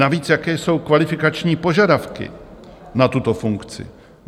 Navíc, jaké jsou kvalifikační požadavky na tuto funkci?